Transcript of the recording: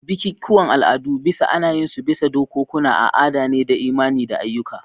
Bikikuwan al'adu bisa ana yin su bisa dokokunan a'ada ne da imani da ayyuka.